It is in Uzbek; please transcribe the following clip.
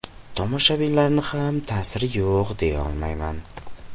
Tomoshabinlarning ham ta’siri yo‘q deyolmayman.